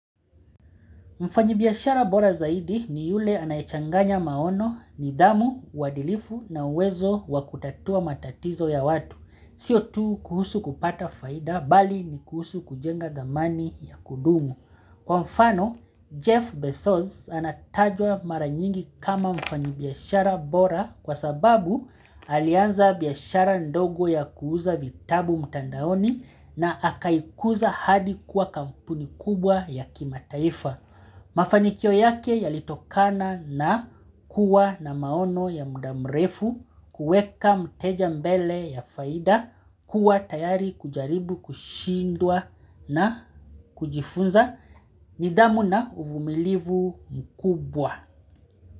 Mfanyibiashara bora zaidi ni yule anayechanganya maono nidhamu, uadilifu na uwezo wa kutatua matatizo ya watu. Sio tu kuhusu kupata faida bali ni kuhusu kujenga dhamani ya kudumu. Kwa mfano, Jeff Bezos anatajwa mara nyingi kama mfanyi biashara bora kwa sababu alianza biashara ndogo ya kuuza vitabu mtandaoni na akaikuza hadi kuwa kampuni kubwa ya kimataifa. Mafanikio yake yalitokana na kuwa na maono ya muda mrefu, kuweka mteja mbele ya faida kuwa tayari kujaribu kushindwa na kujifunza nidhamu na uvumilivu mkubwa.